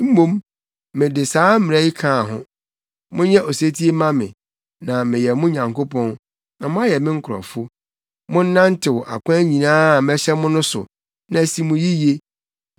mmom mede saa mmara yi kaa ho: Monyɛ osetie mma me, na mɛyɛ mo Nyankopɔn, na moayɛ me nkurɔfo. Monnantew akwan nyinaa a mɛhyɛ mo no so, na asi mo yiye.